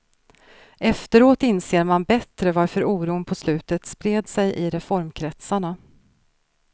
Efteråt inser man bättre varför oron på slutet spred sig i reformkretsarna.